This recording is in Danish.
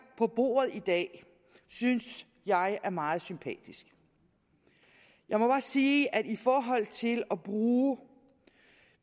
på bordet i dag synes jeg er meget sympatisk jeg må bare sige at i forhold til at bruge